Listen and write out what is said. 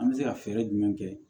An bɛ se ka fɛɛrɛ jumɛn kɛ